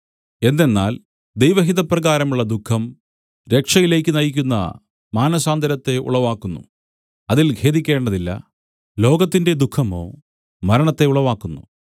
എന്തെന്നാൽ ദൈവഹിതപ്രകാരമുള്ള ദുഃഖം രക്ഷയിലേക്കു നയിക്കുന്ന മാനസാന്തരത്തെ ഉളവാക്കുന്നു അതിൽ ഖേദിക്കേണ്ടതില്ല ലോകത്തിന്റെ ദുഃഖമോ മരണത്തെ ഉളവാക്കുന്നു